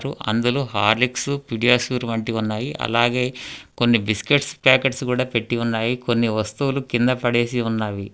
అందులో Horlicks PediaSure వంటివున్నాయి అలాగే కొన్ని బిస్కెట్స్ ప్యాకెట్స్ కూడా పెట్టి ఉన్నాయి కొన్ని వస్తువులు కింద పడేసి ఉన్నవి.